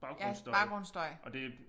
Ja baggrundsstøj